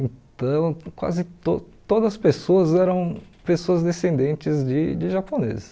Então, quase to todas as pessoas eram pessoas descendentes de de japoneses.